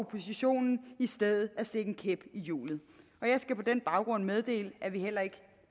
oppositionen i stedet at stikke en kæp i hjulet jeg skal på den baggrund meddele at vi heller ikke